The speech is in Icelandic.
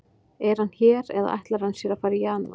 Er hann hér eða ætlar hann sér að fara í janúar?